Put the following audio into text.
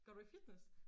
Går du i fitness?